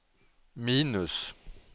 minus